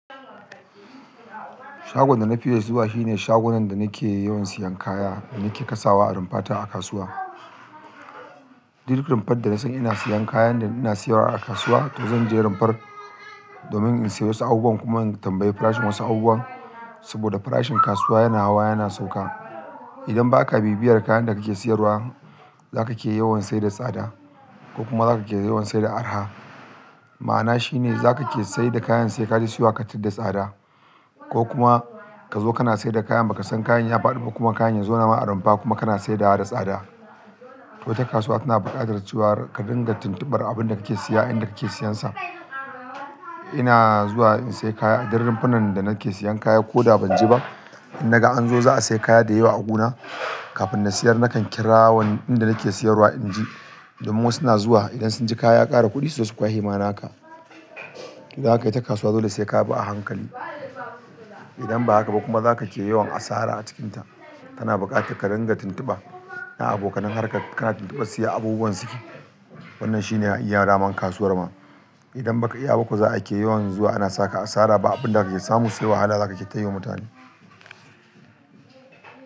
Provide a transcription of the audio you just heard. Shagon da na fiye zuwa shine shagunan da na ke yawan siyan kaya, da nake kasawa a rumfata a kasuwa. Dik rumfar da na san ina siyan kayan da ina siyarwa a kasuwa, to zan je rumfar domin in siyo wasu abubuwan, kuma in tambayi farashin wasu abubuwan. Saboda farashin kasuwa yana hawa yana sauka. Idan ba ka bibiyar kayan da ka ke siyarwa, za ka ke yawan saye da tsada ko kuma za ka ke yawan saida araha. Ma'ana shi ne za ka ke saye da kayan sai ka je siyowa ka tarar tsada ko kuma ka zo kana saida kayan ba ka san kayan ya faɗi ba kuma kayan ya zauna ma a rumfa kuma kana saidawa da tsada. To ita kasuwa tana buƙatar cewar ka dinga tintubar abun da ka ke siya, inda ka ke siyansa. Ina zuwa in siye kaya a duk rumfunan da nake siyan kaya ko da ban je ba, in naga an zo za'a siya kaya da yawa a gi na, kafin na siyar na kan kira inda nake siyarwa in ji domin wasu na zuwa idan sun ji kaya ya ƙara kuɗi, su zo su kwashe ma na ka. To dan haka ita kasuwa dole sai ka bi a hankali. Idan ba haka ba kuma za ka ke yawan asara a cikinta. Tana buƙatar ka dinga tintuba na abokanan harkar, ka na tintubar su ya abubuwan suke. Wannan shi ne iya dama kasuwar ma. Idan ba ka iya ba ko za'a ke yawan zuwa ana saka asara ba abin da ka ke samu sai wahala za ka ke ta yiwa mutane.